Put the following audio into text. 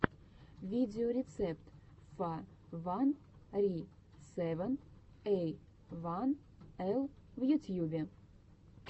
видеорецепт фа ван ри сэвэн эй ван эл в ютьюбе